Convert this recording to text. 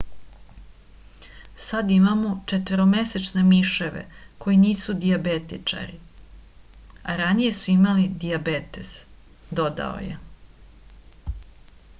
sad imamo četvoromesečne miševe koji nisu dijabetičari a ranije su imali dijabetes dodao je